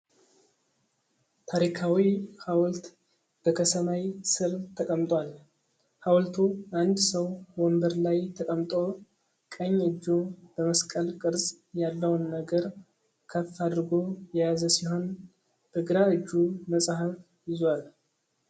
ታሪካዊ ሐውልት በከሰማይ ስር ተቀምጧል። ሐውልቱ አንድ ሰው ወንበር ላይ ተቀምጦ፣ ቀኝ እጁ በመስቀል ቅርጽ ያለውን ነገር ከፍ አድርጎ የያዘ ሲሆን፣ በግራ እጁ መጽሐፍ ይዟል።